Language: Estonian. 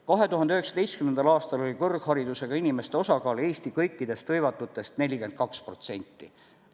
2019. aastal oli kõrgharidusega inimeste osakaal Eesti kõikides hõivatutes 42%.